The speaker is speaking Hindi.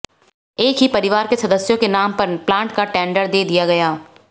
एक ही परिवार के सदस्यों के नाम पर प्लांट का टेंडर दे दिया गया